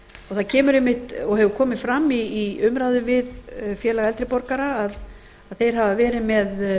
það kemur einmitt og hefur komið fram í umræðum við félag eldri borgara að þeir hafa verið með